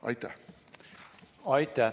Aitäh!